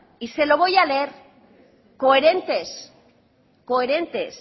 y se lo voy a leer coherentes coherentes